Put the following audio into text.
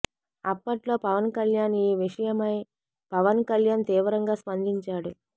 అప్పట్లో పవన్ కళ్యాణ్ ఈ విషయమై పవన్ కళ్యాణ్ తీవ్రంగా స్పందించాడు